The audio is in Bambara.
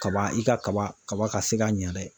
Kaba i ka kaba kaba ka se ka ɲɛ dɛ